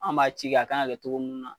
An b'a ci kɛ a kan ga kɛ togo munnna